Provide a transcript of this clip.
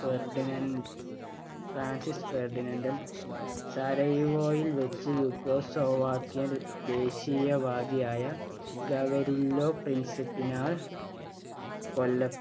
Ferdinand Francis ഫെര്‍ഡിനന്‍റൽ സരയുവോവയില്‍ വച്ച് yugoslavia ക്കിയൻ ദേശീയവാദിയായ ഗവരില്ലോ പ്രിന്സിപ്പിനാൽ കൊലപ്പെ